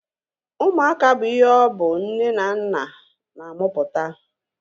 Ụmụaka bụ ihe ọ bụ nne na nna na-amụpụta